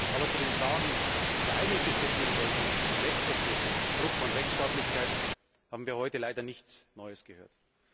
Aber zu den Fragen, die wir eigentlich diskutieren sollten, nämlich zu den Rechtsverstößen, Bruch von Rechtsstaatlichkeit, haben wir heute leider nichts Neues gehört.